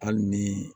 Hali ni